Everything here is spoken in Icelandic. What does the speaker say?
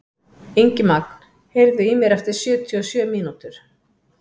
Ingimagn, heyrðu í mér eftir sjötíu og sjö mínútur.